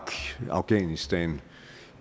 afghanistan